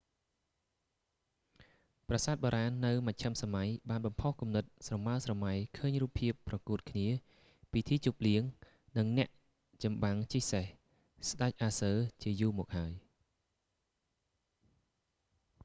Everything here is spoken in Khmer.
ប្រាសាទបុរាណនៅមជ្ឈិមសម័យបានបំផុសគំនិតស្រមើលស្រម៉ៃឃើញរូបភាពប្រកូតគ្នា ពិធីជប់លៀង និងអ្នកចំបាំងជិះសេះ ស្តេចអាស៊ើ arthurian ជាយូរមកហើយ